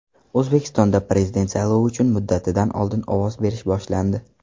O‘zbekistonda Prezident saylovi uchun muddatidan oldin ovoz berish boshlandi.